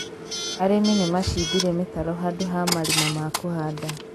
arĩmi nĩmacĩmbire mĩtaro handũ ha marima ma kũhanda